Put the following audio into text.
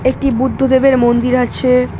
একটি বুদ্ধ দেবের মন্দির আছে--